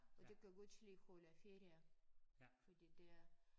Og de kan godt lide holde ferie fordi de er